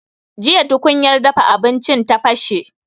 Jiya tukunya dafa abinci ya bashe